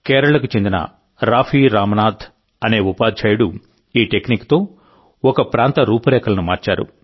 కేరళకు చెందిన రాఫీ రామ్నాథ్ అనే ఉపాధ్యాయుడు ఈ టెక్నిక్తో ఒక ప్రాంత రూపురేఖలను మార్చారు